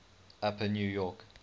upper new york